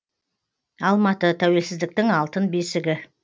алматы тәуелсіздіктің алтын бесігі